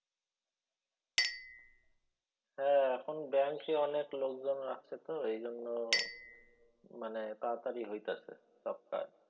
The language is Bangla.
হ্যাঁ এখন ব্যাঙ্কে অনেক লোকজন রাখে তো এইজন্য মানে তার তারি হইতাছে সব কাজ।